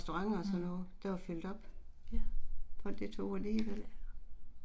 Mh. Ja